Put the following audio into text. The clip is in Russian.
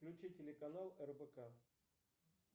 включи телеканал рбк